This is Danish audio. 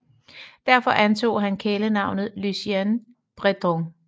Derfor antog han kælenavnet Lucien Breton